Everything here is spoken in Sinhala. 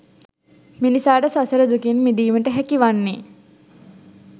මිනිසාට සසර දුකෙන් මිදීමට හැකිවන්නේ